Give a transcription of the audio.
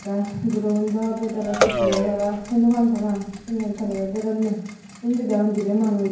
aah guroun daw betala chitpurey para hei naw paan parang syenye tararey dedonye undi deyong dibey manus.